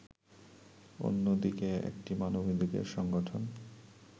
অন্যদিকে একটি মানবাধিকার সংগঠন